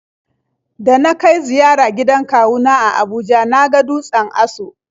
Da na kai ziyara gidan kawu na a Abuja na ga dutsen Aso.